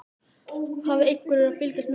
Hafði einhver verið að fylgjast með henni?